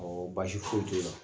Ɔ Baasi foyi t'o la